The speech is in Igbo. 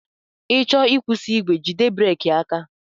I chọọ ịkwụsị igwe, ijide breki aka.